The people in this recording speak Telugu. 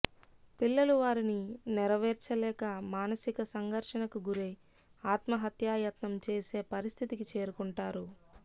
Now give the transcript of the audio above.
పిల్లలు వారిని నెరవేర్చలేక మానసిక సంఘర్షణకు గురై ఆత్మహత్యాయత్నం చేసే పరిస్థితికి చేరుకుంటారు